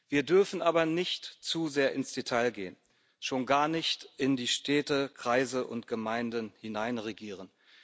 Wir dürfen aber nicht zu sehr ins Detail gehen, schon gar nicht in die Städte, Kreise und Gemeinden hineinregieren.